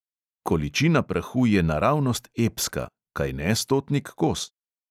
Količina prahu je naravnost epska, kajne, stotnik kos?